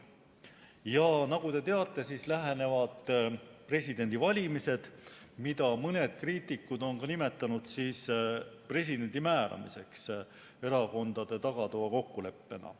Ja nagu te teate, lähenevad presidendivalimised, mida mõned kriitikud on nimetanud ka presidendi määramiseks erakondade tagatoakokkuleppena.